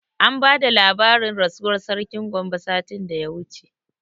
An bada labarin rasuwar sarkin Gombe satin da ya wuce